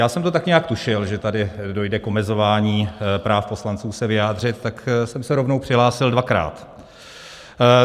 Já jsem to tak nějak tušil, že tady dojde k omezování práv poslanců se vyjádřit, tak jsem se rovnou přihlásil dvakrát.